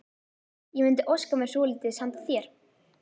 Ég mundi óska mér svolítils handa þér!